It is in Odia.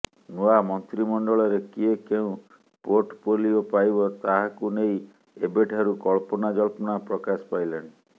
ନୂଆ ମନ୍ତ୍ରୀମଣ୍ଡଳରେ କିଏ କେଉଁ ପୋର୍ଟଫୋଲିଓ ପାଇବ ତାହାକୁ ନେଇ ଏବେଠାରୁ କଳ୍ପନାଜଳ୍ପନା ପ୍ରକାଶ ପାଇଲାଣି